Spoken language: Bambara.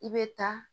I bɛ taa